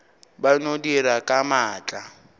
ba no dira ka maatla